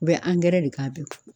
U bɛ angɛrɛ de k'a bɛ